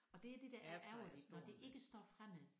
Og det er det der er ærgerligt når det ikke står fremme